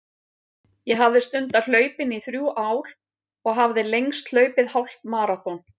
Ég hafði stundað hlaupin í þrjú ár og hafði lengst hlaupið hálft maraþon.